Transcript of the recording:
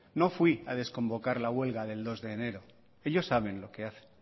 no fui a desconvocar la huelga del dos de enero ellos saben lo que hacen